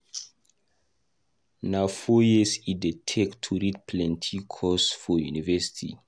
Na four years e dey take to read plenty course for university.